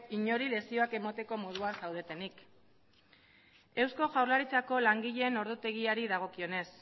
inori lezioak emateko moduan zaudetenik eusko jaurlaritzako langileen ordutegiari dagokionez